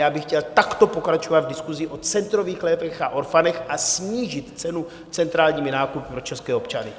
Já bych chtěl takto pokračovat v diskusi o centrových lécích a orphanech a snížit cenu centrálními nákupy pro české občany.